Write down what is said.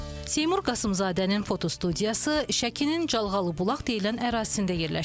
Seymur Qasımzadənin fotostudiyası Şəkinin Calğalıbulaq deyilən ərazisində yerləşir.